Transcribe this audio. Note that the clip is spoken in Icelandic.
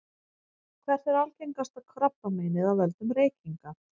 hvert er algengasta krabbameinið af völdum reykinga